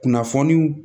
Kunnafoniw